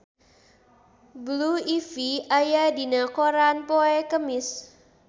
Blue Ivy aya dina koran poe Kemis